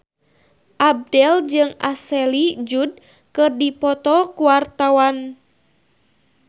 Abdel jeung Ashley Judd keur dipoto ku wartawan